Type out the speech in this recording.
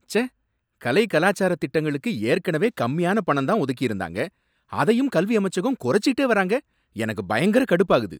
ச்சே! கலை, கலாச்சார திட்டங்களுக்கு ஏற்கனவே கம்மியான பணம் தான் ஒதுக்கிருந்தாங்க, அதையும் கல்வி அமைச்சகம் குறைச்சுகிட்டே வர்றாங்க, எனக்கு பயங்கர கடுப்பாகுது.